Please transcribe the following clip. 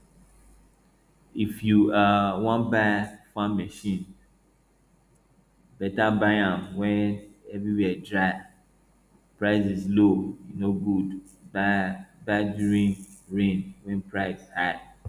if you um wan buy farm machine better buy am when everywhere dry prices low e no good buy buy during rain wey price high